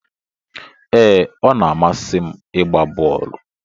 Ee, ọ na-amasị m ịgba bọọlụ